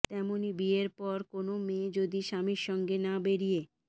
তেমনই বিয়ের পর কোনও মেয়ে যদি স্বামীর সঙ্গে না বেরিয়ে